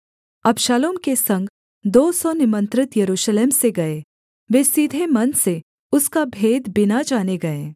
अबशालोम के संग दो सौ निमंत्रित यरूशलेम से गए वे सीधे मन से उसका भेद बिना जाने गए